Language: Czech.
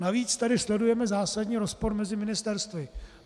Navíc tady sledujeme zásadní rozpor mezi ministerstvy.